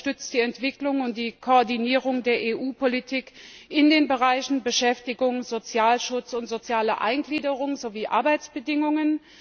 Es unterstützt die Entwicklung und die Koordinierung der EU Politik in den Bereichen Beschäftigung, Sozialschutz und soziale Eingliederung sowie Arbeitsbedingungen.